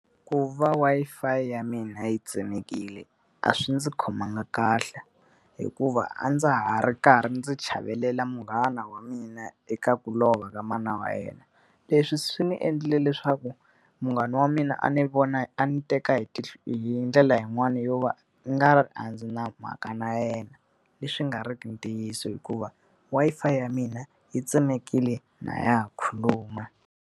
ku va Wi-Fi ya mina yi tsemekile a swi ndzi khomanga kahle, hikuva a ndza ha ri karhi ndzi chavelela munghana wa mina eka ku lova ka mana wa yena. Leswi swi ni endle leswaku munghana wa mina a ni vona a ni teka hi hi ndlela yin'wani yo va u nga ri a ndzi na mhaka na yena. Leswi nga ri ki ntiyiso hikuva Wi-Fi ya mina yi tsemekile ha khuluma.